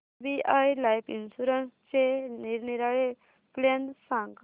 SBI life इन्शुरन्सचे निरनिराळे plan सांग